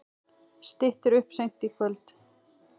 Styttir upp seint í kvöld